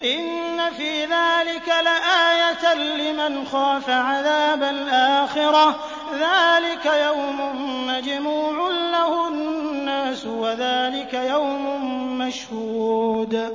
إِنَّ فِي ذَٰلِكَ لَآيَةً لِّمَنْ خَافَ عَذَابَ الْآخِرَةِ ۚ ذَٰلِكَ يَوْمٌ مَّجْمُوعٌ لَّهُ النَّاسُ وَذَٰلِكَ يَوْمٌ مَّشْهُودٌ